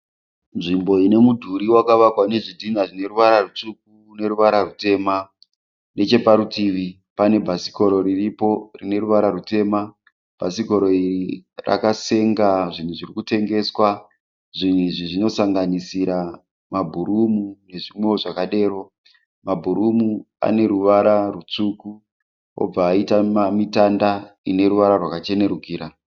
Nzvimbo ine mudhuri wakavakwa nezvidhinha zvine ruvara zvitsvuku nerwuvara rwutema. Necheparutivi pane bhasikoro riripo rine ruvara rwutema. Bhasikoro iri rakasenga zvinhu zvirikutengeswa. Zvinhu izvi zvinosanganisira mabhurumu nezvimwewo zvakadero. Mabhurumu ane ruvara rutsvuku obva aita mitanda ne ruvara rwakachenerukira.